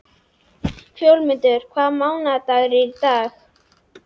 Fjólmundur, hvaða mánaðardagur er í dag?